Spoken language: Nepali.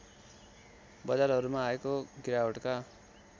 बजारहरूमा आएको गिरावटका